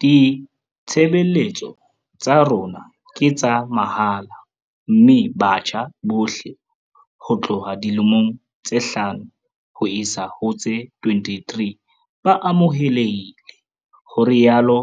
Ditshebeletso tsa rona ke tsa mahala mme batjha bohle ho tloha dilemong tse hlano ho isa ho tse 23 ba amohelehile, ho rialo